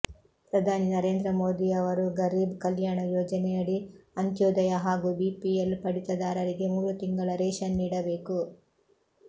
ಪ್ರಧಾನಿ ನರೇಂದ್ರ ಮೋದಿಯವರು ಗರೀಬ್ ಕಲ್ಯಾಣ ಯೋಜನೆಯಡಿ ಅಂತ್ಯೋದಯ ಹಾಗೂ ಬಿಪಿಎಲ್ ಪಡಿತರದಾರರಿಗೆ ಮೂರು ತಿಂಗಳ ರೇಷನ್ ನೀಡಬೇಕು